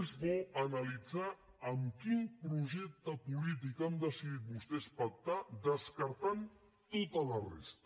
és bo analitzar amb quin projecte polític han decidit vostès pactar descartant tota la resta